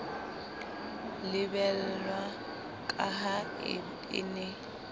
lebellwa ka ha e ne